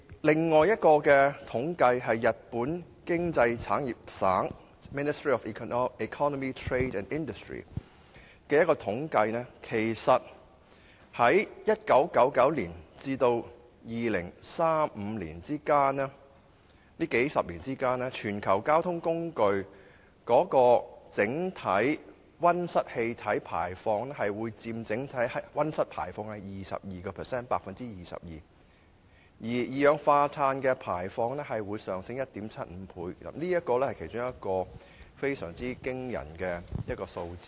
另一項由日本經濟產業省進行的統計則指出，在1999年至2035年這數十年間，全球交通工具所排放的溫室氣體佔整體溫室氣體排放量的 22%， 而二氧化碳的排放將上升 1.75 倍，這是其中一個非常驚人的數字。